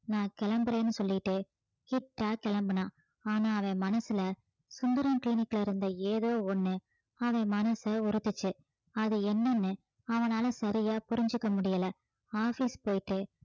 நான் கிளம்புறேன்னு சொல்லிட்டு கிட்டா கிளம்புனான் ஆனா அவன் மனசுல சுந்தரம் clinic ல இருந்த ஏதோ ஒண்ணு அவன் மனச உறுத்துச்சு அது என்னன்னு அவனால சரியா புரிஞ்சுக்க முடியலை office போயிட்டு